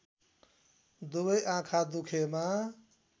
दुबै आँखा दुखेमा